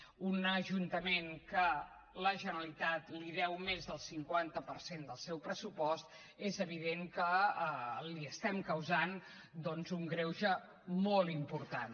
a un ajuntament que la generalitat li deu més del cinquanta per cent del seu pressupost és evident que li estem causant doncs un greuge molt important